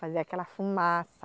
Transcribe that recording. Fazia aquela fumaça.